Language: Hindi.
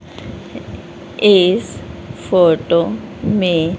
इस फोटो मे--